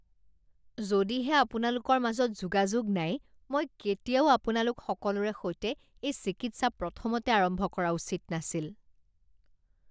যদিহে আপোনালোকৰ মাজত যোগাযোগ নাই মই কেতিয়াও আপোনালোক সকলোৰে সৈতে এই চিকিৎসা প্ৰথমতে আৰম্ভ কৰা উচিত নাছিল।